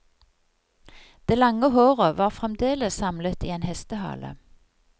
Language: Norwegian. Det lange håret var fremdeles samlet i en hestehale.